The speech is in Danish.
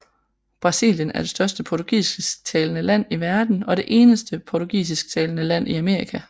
Brasilien er det største portugisisktalende land i verden og det eneste portugisisktalende land i Amerika